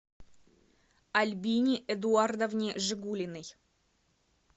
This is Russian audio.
альбине эдуардовне жигулиной